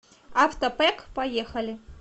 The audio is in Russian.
авто пэк поехали